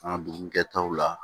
An ka dugu kɛtaw la